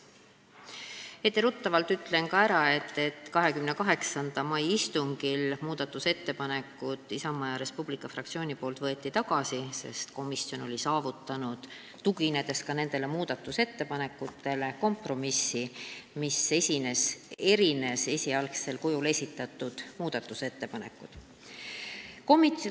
Etteruttavalt ütlen kohe ära, et 28. mai istungil võttis Isamaa ja Res Publica Liidu fraktsioon oma ettepanekud tagasi, sest komisjon oli ka nendele tuginedes saavutanud kompromissi, mis erines esialgsel kujul esitatud muudatusettepanekutest.